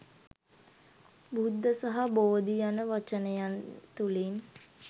බුද්ධ සහ බෝධි යන වචනයන් තුළින්